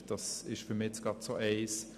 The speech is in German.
Das ist für mich gerade so eines.